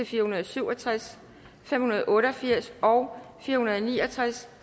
fire hundrede og syv og tres fem hundrede og otte og firs og fire hundrede og ni og tres